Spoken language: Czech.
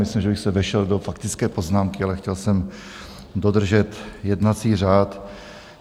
Myslím, že bych se vešel do faktické poznámky, ale chtěl jsem dodržet jednací řád.